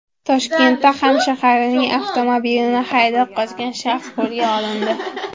Toshkentda hamshaharining avtomobilini haydab qochgan shaxs qo‘lga olindi.